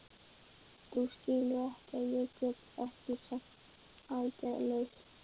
Þú skilur að ég get ekki setið aðgerðalaus.